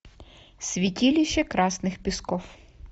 святилище красных песков